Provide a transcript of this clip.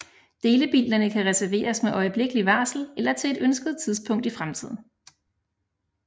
Delebilerne kan reserveres med øjeblikkeligt varsel eller til et ønsket tidspunkt i fremtiden